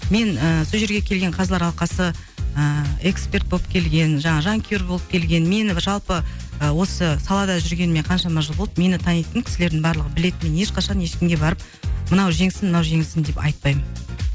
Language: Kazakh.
мен і сол жерге келген қазылар алқасы ыыы эксперт болып келген жаңағы жанкүйер болып келген мені жалпы осы салада жүргеніме қаншама жыл болды мені танитын кісілердің барлығы біледі мен ешқашан ешкімге барып мынау жеңсін мынау жеңілсін деп айтпаймын